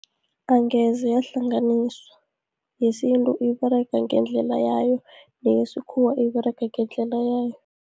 Angeze yahlanganiswa, yesintu iberega ngendlela yayo, neyesikhuwa iberega ngendlela yayo.